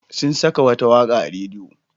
Sun saka wata waƙa a rediyo.